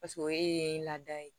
Paseke o ye laada ye